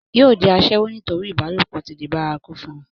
yóò di asẹ́wó nítorí ìbálòpọ̀ ti di bárakú fún un